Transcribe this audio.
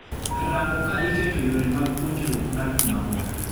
Rango ka iketo yore mag puonjruok mar kuma bor.